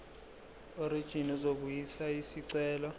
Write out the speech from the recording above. werijini uzobuyisa isicelo